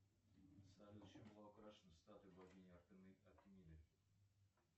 салют чем была украшена статуя богини артемиды